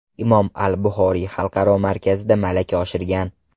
Imom al-Buxoriy xalqaro markazida malaka oshirgan.